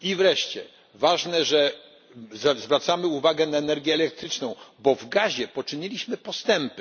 win. I wreszcie ważne, że zwracamy uwagę na energię elektryczną, bo w gazie poczyniliśmy postępy.